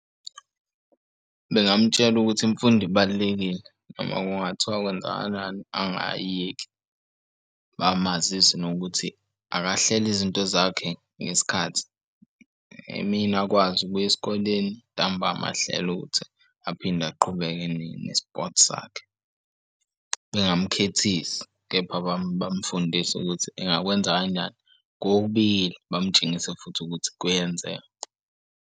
Bengamutshela ukuthi imfundo ibalulekile noma kungathiwa kwenzakalani angayiyeki bamazise nokuthi akahlele izinto zakhe ngesikhathi emini akwazi ukuya esikoleni ntamba ahlele ukuthi aphinde aqhubeke ne-sport sakhe. Bengamukhethisi kepha bamufundise ukuthi engakwenza kanjani kokubili, bamutshengisa futhi ukuthi kuyenzeka.